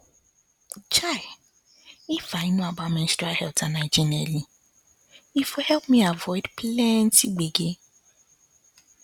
um if i know about menstrual health and hygiene early e for help me avoid plenty gbege